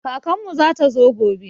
Kakan mu zata zo gobe